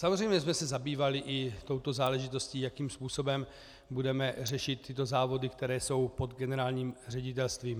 Samozřejmě jsme se zabývali i touto záležitostí, jakým způsobem budeme řešit tyto závody, které jsou pod generálním ředitelstvím.